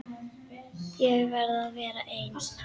Ég verð að vera ein.